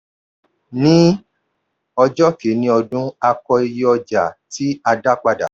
ní ọjọ́ kìíní ọdún a kọ iye ọjà tí a dá padà.